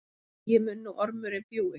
Eigi mun nú ormurinn bjúgi,